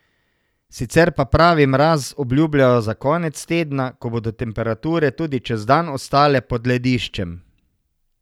Sicer pa pravi mraz obljubljajo za konec tedna, ko bodo temperature tudi čez dan ostale pod lediščem.